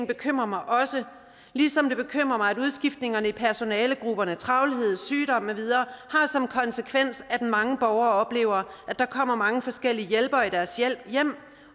bekymrer mig også ligesom det bekymrer mig at udskiftningerne i personalegrupperne travlhed sygdom med videre har som konsekvens at mange borgere oplever at der kommer mange forskellige hjælpere i deres hjem